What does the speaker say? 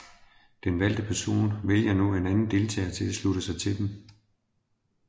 Den valgte person vælger nu anden deltager til at slutte sig til dem